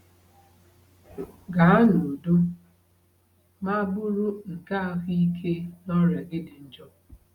Gaa n’udo, maa bụrụ nke ahụike n’ọrịa gị dị njọ.”